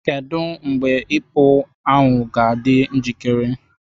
Kedu mgbe ipo ahu ga-adị njikere taa?